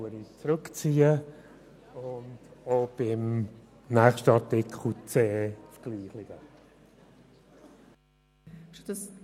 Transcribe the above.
Ich erteile das Wort Grossrat Boss für den Rückweisungsantrag